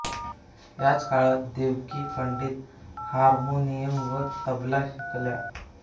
याच काळात देवकी पंडित हार्मोनियम व तबला शिकल्या